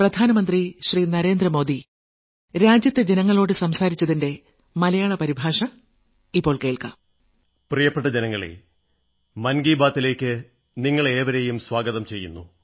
പ്രിയപ്പെട്ട ജനങ്ങളേ മൻ കീ ബാത്തിലേക്ക് നിങ്ങളെ ഏവരെയും സ്വാഗതം ചെയ്യുന്നു